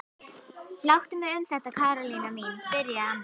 Láttu mig um þetta Karólína mín byrjaði amma.